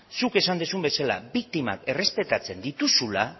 zuk esan duzun bezala biktimak errespetatzen dituzula